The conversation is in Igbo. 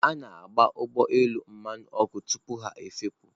A na-agba ụgbọ elu mmanụ ọkụ tupu ha efepụ.